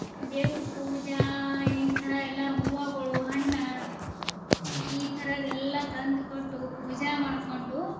ದೇವರ್ ಪೂಜಾ ಈ ತರಹ ಎಲ್ಲ ಹೂವಗಳು, ಹಣ್ಣ ಈ ತರದ್ ಎಲ್ಲ ತಂದ್ ಕೊಟ್ಟು ಪೂಜಾ ಮಾಡ್ಕೊಂಡು.